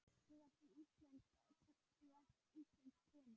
Þú varst íslensk kona.